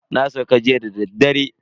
Na sauka jiya dadaddare.